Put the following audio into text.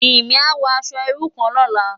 Jimi á wò aṣò irú kán lòlá